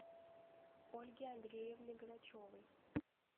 ольги андреевны грачевой